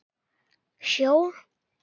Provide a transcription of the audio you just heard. Hjól?